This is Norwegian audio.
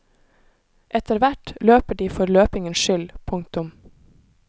Etterhvert løper de for løpingens skyld. punktum